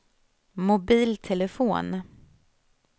mobiltelefon